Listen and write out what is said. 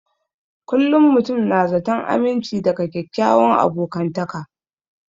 Kullum mutum na zaton aminci daga kyakkyawan abokantaka